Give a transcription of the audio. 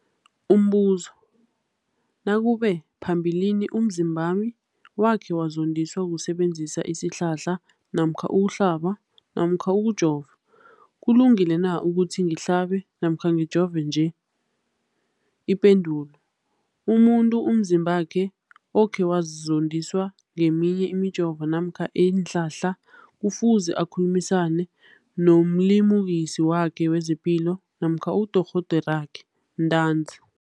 Umbuzo, nakube phambilini umzimbami wakhe wazondiswa kusebenzisa isihlahla namkha ukuhlaba namkha ukujova, kulungile na ukuthi ngihlaba namkha ngijove nje? Ipendulo, umuntu umzimbakhe okhe wazondiswa ngeminye imijovo namkha iinhlahla kufuze akhulumisane nomlimukisi wakhe wezepilo namkha nodorhoderakhe ntanzi.